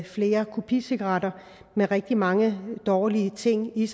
flere kopicigaretter med rigtig mange dårlig ting i